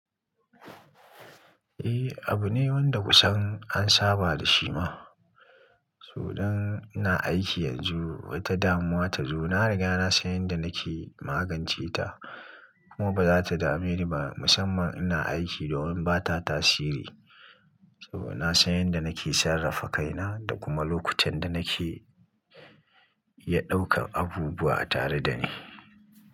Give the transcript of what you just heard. Eh, abu ne wanda kusan an saba da shi ma. So dan ina aiki yanzu, wata damuwa ta zo, na riga na san yanda nake magance ta. Kuma ba za ta dame ni ba musamman ina aiki domin ba ta tasiri. To na san yanda nake sarrafa kaina da kuma lokutan da nake iya ɗaukan abubuwa tare da ni.